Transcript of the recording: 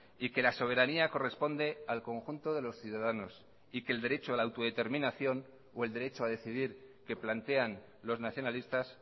y que la soberanía corresponde al conjunto de los ciudadanos y que el derecho a la autodeterminación o el derecho a decidir que plantean los nacionalistas